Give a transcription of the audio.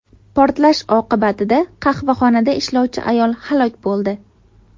Portlash oqibatida qahvaxonada ishlovchi ayol halok bo‘ldi.